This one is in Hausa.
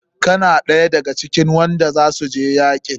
Kana ɗaya da ga cikin wanda za su je yakin?